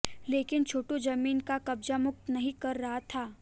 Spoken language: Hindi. लेकिन छोटू जमीन को कब्जा मुक्त नहीं कर रहा था